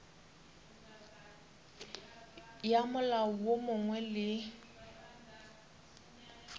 ya molao wo mongwe le